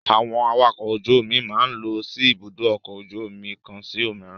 Àwọn awakọ̀ ojú-omi máa ń lọ sí Ibùdó-ọkọ̀ ojú-omi kan sí òmíràn.